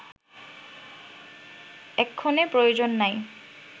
এক্ষণে প্রয়োজন নাই